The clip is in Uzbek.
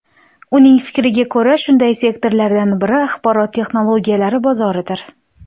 Uning fikriga ko‘ra, shunday sektorlardan biri axborot texnologiyalari bozoridir.